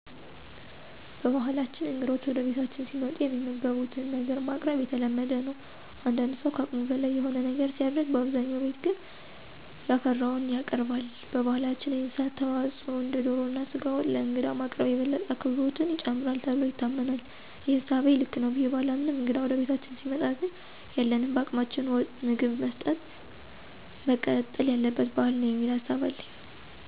በባህላችን እንግዶች ወደ ቤታችን ሲመጡ የሚመገቡትን ነገር ማቅረብ የተለመደ ነው። አንዳንድ ሠው ከአቅሙ በላይ የሆነ ነገር ሲያደርግ በአብዛኛው ግን ቤት ያፈራውን ያቀርባል። በባህላችን የእንስሳት ተዋፅዖ እንደ ዶሮ እና ስጋ ወጥ ለእንግዳ ማቅረብ የበለጠ አክብሮትን ይጨምራል ተብሎ ይታመናል። ይህ እሳቤ ልክ ነው ብዬ ባላምንም እንግዳ ወደ ቤታችን ሲመጣ ግን ያለንን በአቅማችን ምግብ መስጠጥ መቀጠል ያለበት ባህል ነው የሚል ሀሳብ አለኝ።